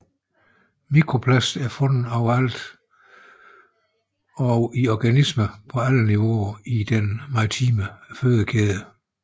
Mikroplast er fundet overalt og i organismer på alle niveauer i den marine fødekæde